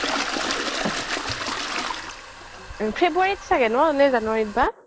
february চাগে ন নে january ত' বা